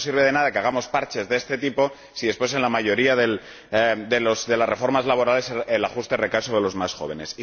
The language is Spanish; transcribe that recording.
Entonces, no sirve de nada que hagamos parches de este tipo si, después, en la mayoría de las reformas laborales, el ajuste recae sobre los más jóvenes.